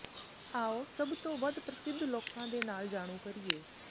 ਆਉ ਸਭ ਤੋਂ ਵੱਧ ਪ੍ਰਸਿੱਧ ਲੋਕਾਂ ਦੇ ਨਾਲ ਜਾਣੂ ਕਰੀਏ